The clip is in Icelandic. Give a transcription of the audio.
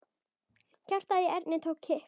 Hjartað í Erni tók kipp.